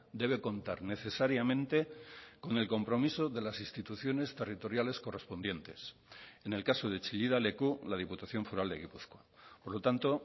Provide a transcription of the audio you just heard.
debe contar necesariamente con el compromiso de las instituciones territoriales correspondientes en el caso de chillida leku la diputación foral de gipuzkoa por lo tanto